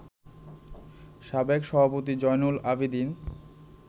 সাবেক সভাপতি জয়নুল আবেদীন